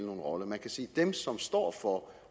nogen rolle man kan sige at dem som står for